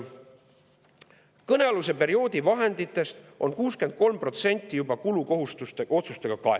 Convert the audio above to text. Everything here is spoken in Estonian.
Ta ütleb, et kõnealuse perioodi vahenditest on 63% juba kulukohustuste otsustega kaetud.